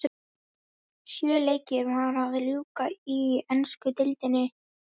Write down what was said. Sjö leikjum var að ljúka í ensku deildinni.